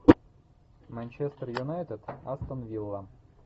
манчестер юнайтед астон вилла